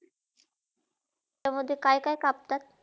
त्यामधे काय - काय कापतात?